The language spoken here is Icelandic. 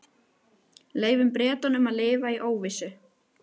Leyfum Bretunum að lifa í óvissu.